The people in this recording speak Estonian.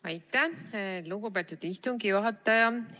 Aitäh, lugupeetud istungi juhataja!